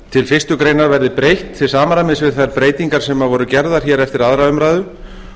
til fyrstu grein verði breytt til samræmis við þær breytingar sem voru gerðar hér eftir aðra umræðu